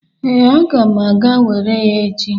Ee, aga m aga were ya echi.